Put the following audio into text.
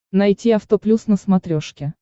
найти авто плюс на смотрешке